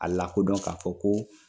A lakodɔn k'a fɔ ko